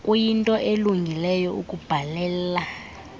kuyinto elungileyo ukubhalela